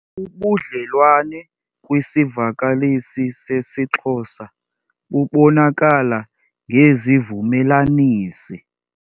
Ubudlelwane kwisivakalisi sesiXhosa bubonakala ngezivumelanisi.